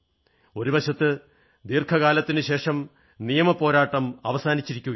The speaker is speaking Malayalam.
ഒരു വശത്ത് ദീർഘകാലത്തിനുശേഷം നിയമപ്പോരാട്ടം അവസാനിച്ചിരിക്കയാണ്